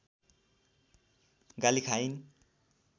गाली खाइन्